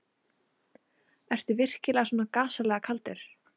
Ertu virkilega svona gasalega kaldur.